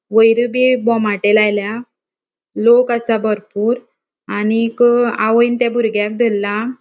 वयर बी बोमाटे लायला लोक असा भरपुर आणिक आवोयन त्या बुर्ग्याक धरला.